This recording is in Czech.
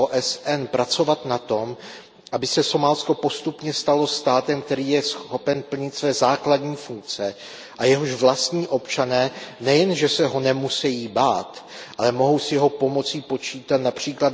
s OSN, pracovat na tom, aby se Somálsko postupně stalo státem, který je schopen plnit své základní funkce a jehož vlastní občané nejenže se ho nemusejí bát, ale mohou s jeho pomocí počítat, např.